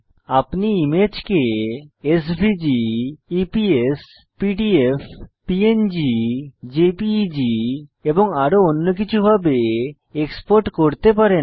আপনি ইমেজকে SVG EPS PDF PNG JPEG এবং আরো অন্য কিছু ভাবে এক্সপোর্ট করতে পারেন